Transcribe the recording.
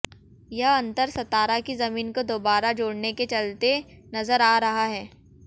यह अंतर सतारा की जमीन को दोबारा जोडऩे के चलते नजर आ रहा है